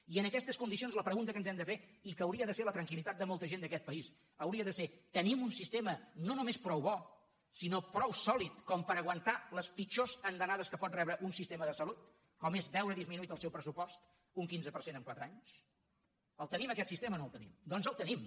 i en aquestes condicions la pregunta que ens hem de fer i que hauria de ser la tranquilria de ser tenim un sistema no només prou bo sinó prou sòlid com per aguantar les pitjors andanades que pot rebre un sistema de salut com és veure disminuït el seu pressupost un quinze per cent en quatre anys el tenim aquest sistema o no el tenim doncs el tenim